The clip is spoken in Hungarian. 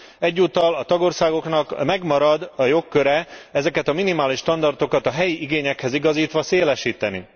Egyúttal a tagországoknak megmarad a jogköre ezeket a minimális standardokat a helyi igényekhez igazítva szélesíteni.